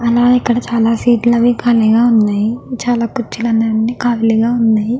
అలాగే ఇక్కడ చాల సీట్లు లు అవి కాలిగా వున్నాయ్ చాల కుర్చీలు కూడా కాలిగా వున్నాయ్.